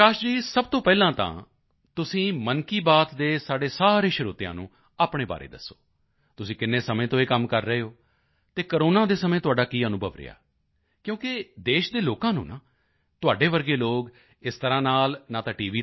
ਪ੍ਰਕਾਸ਼ ਜੀ ਸਭ ਤੋਂ ਪਹਿਲਾਂ ਤਾਂ ਤੁਸੀਂ ਮਨ ਕੀ ਬਾਤ ਦੇ ਸਾਡੇ ਸਾਰੇ ਸਰੋਤਿਆਂ ਨੂੰ ਆਪਣੇ ਬਾਰੇ ਦੱਸੋ ਤੁਸੀਂ ਕਿੰਨੇ ਸਮੇਂ ਤੋਂ ਇਹ ਕੰਮ ਕਰ ਰਹੇ ਹੋ ਅਤੇ ਕੋਰੋਨਾ ਦੇ ਸਮੇਂ ਤੁਹਾਡਾ ਕੀ ਅਨੁਭਵ ਰਿਹਾ ਕਿਉਂਕਿ ਦੇਸ਼ ਦੇ ਲੋਕਾਂ ਨੂੰ ਤੁਹਾਡੇ ਵਰਗੇ ਲੋਕ ਨਾ ਇਸ ਤਰ੍ਹਾਂ ਨਾਲ ਟੀ